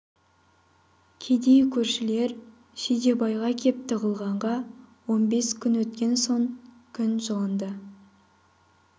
кедей көршілер жидебайға кеп тығылғанға он бес күн өткен соң күн жылынды